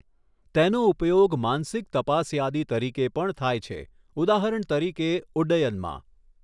તેનો ઉપયોગ માનસિક તપાસયાદી તરીકે પણ થાય છે, ઉદાહરણ તરીકે ઉડ્ડયનમાં.